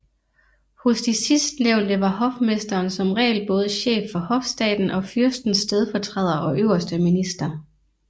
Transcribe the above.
Hos de sidstnævnte var hofmesteren som regel både chef for hofstaten og fyrstens stedfortræder og øverste minister